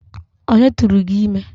Onye tụụrụ gị ime?